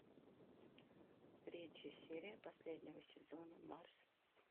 третья серия последнего сезона марс